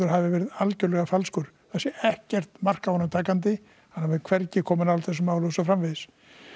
hafi verið algerlega falskur það sé ekkert mark á honum takandi hann hafi hvergi komið nálægt þessu máli og svo framvegis